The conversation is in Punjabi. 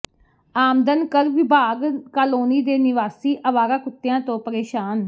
ਆਮਦਨ ਕਰ ਵਿਭਾਗ ਕਾਲੋਨੀ ਦੇ ਨਿਵਾਸੀ ਆਵਾਰਾ ਕੁੱਤਿਆਂ ਤੋਂ ਪ੍ਰੇਸ਼ਾਨ